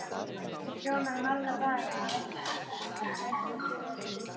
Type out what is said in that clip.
Hún ljómar í marga daga ef einhver gefur henni eitthvað.